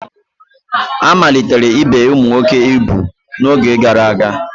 A malitere ibe ụmụ nwoke ugwu n'oge gara aga